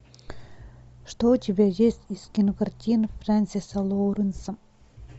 что у тебя есть из кинокартин фрэнсиса лоуренса